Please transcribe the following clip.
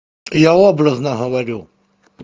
я образно говорю